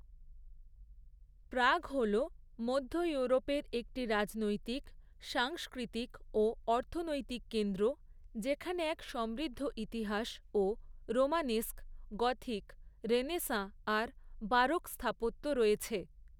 প্রাগ হল মধ্য ইউরোপের একটি রাজনৈতিক, সাংস্কৃতিক ও অর্থনৈতিক কেন্দ্র, যেখানে এক সমৃদ্ধ ইতিহাস, ও রোমানেস্ক, গথিক, রেনেসাঁ আর বারোক স্থাপত্য রয়েছে।